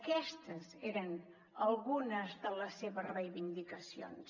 aquestes eren algunes de les seves reivindicacions